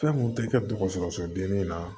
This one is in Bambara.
Fɛn mun tɛ kɛ dɔgɔtɔrɔso bilen na